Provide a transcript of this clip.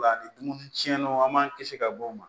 Ola ni dumuni tiɲɛnaw an b'an kisi ka bɔ o ma